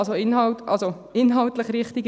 Also in dem Sinn: inhaltlich richtig.